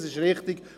Das ist richtig.